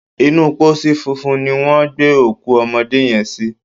Inú pósí funfun ni wọ́n gbé òkú ọmọdé yẹn sí.